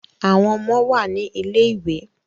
àwọn ọmọ wá ní Ilé-ìwé